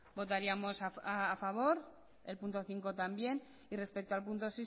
votaríamos a favor el punto cinco también y respecto al punto